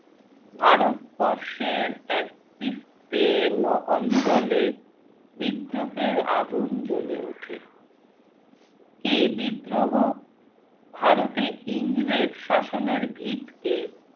ভারতবর্ষের এক বিস্তীর্ণ অঞ্চলে বিদ্রোহের আগুন জ্বলে ওঠে। এই বিদ্রোহ ভারতে ইংরেজ শাসনের ভিতকে